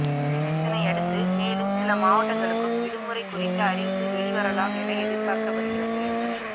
இதனையடுத்து மேலும் சில மாவட்டங்களுக்கும் விடுமுறை குறித்த அறிவிப்பு வெளிவரலாம் என எதிர்பார்க்கப்படுகிறது